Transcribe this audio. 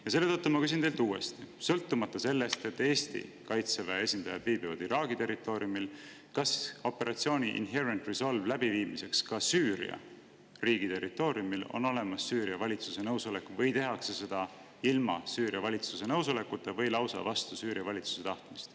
Ja selle tõttu ma küsin teilt uuesti, sõltumata sellest, et Eesti kaitseväe esindajad viibivad Iraagi territooriumil, kas operatsiooni Inherent Resolve läbiviimiseks ka Süüria riigi territooriumil on olemas Süüria valitsuse nõusolek või tehakse seda ilma Süüria valitsuse nõusolekuta või lausa vastu Süüria valitsuse tahtmist.